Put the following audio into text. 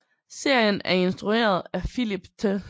Serien er instrueret af Philip Th